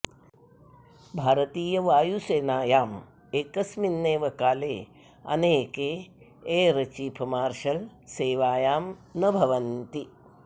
भारतीयवायुसेनायाम् एकस्मिन्नेव काले अनेके एर् चीफ् मार्शल् सेवायां न भवन्ति